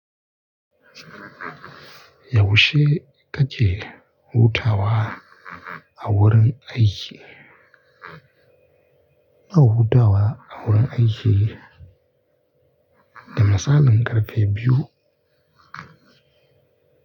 Yaushe kake hutawa a wurin aiki? Ina hutawa a wurin aiki da misalin ƙarfe biyu.